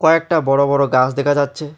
কয়েকটা বড়ো বড়ো গাস দেখা যাচ্ছে।